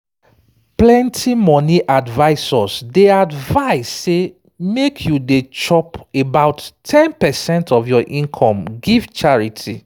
plenty money advisors dey advise say make you dey drop about ten percent of your income give charity